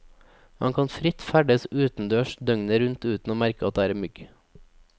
Man kan fritt ferdes utendørs døgnet rundt uten å merke at det er mygg.